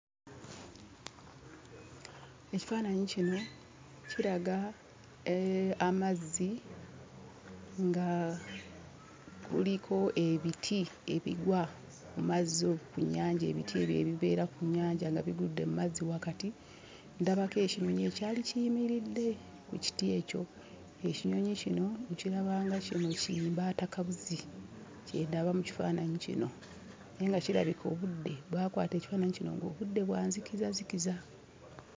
Ekifaananyi kino kiraga amazzi nga kuliko ebiti ebigwa ku mazzi okwo ku nnyanja, ebiti ebyo ebibeera ku nnyanja nga bigudde mu mazzi wakati. Ndabako ekinyonyi ekyali kiyimiridde ku kiti ekyo, ekinyonyi kino nkiraba nga kino kimbaatakabuzi; kye ndaba mu kifaananyi kino naye nga kirabika obudde baakwata ekifaananyi kino ng'obudde bwa nzikizazikiza.